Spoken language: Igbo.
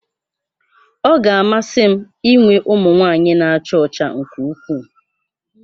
Ọ ga-amasị m inwe ụmụ nwanyị na-acha ọcha nke ukwuu